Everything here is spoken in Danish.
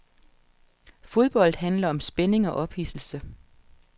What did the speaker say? Fodbold handler om spænding og ophidselse.